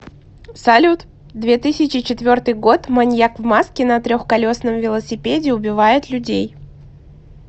салют две тысячи четвертый год маньяк в маске на трехколесном велосипеде убивает людей